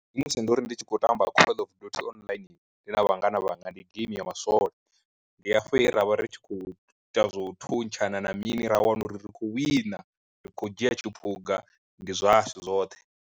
Ndi musi ndo ri ndi tshi khou tamba call of duty online ndi na vhangana vhanga ndi geimi ya maswole, ndi hafho he ra vha ri tshi khou ita zwa u thuntshana na mini ra wana uri ri khou wina ri khou dzhia tshiphuga ndi zwashu zwoṱhe.